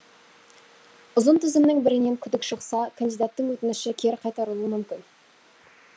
ұзын тізімнің бірінен күдік шықса кандидаттың өтініші кері қайтарылуы мүмкін